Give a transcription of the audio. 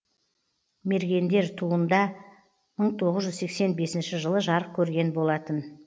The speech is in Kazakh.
мергендер туында мың тоғыз жүз сексен бесінші жылы жарық көрген болатын